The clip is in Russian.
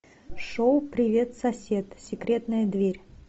шоу привет сосед секретная дверь